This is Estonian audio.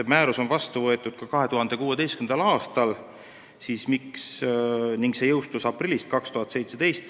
Määrus on vastu võetud 2016. aastal ning see jõustus aprillis 2017.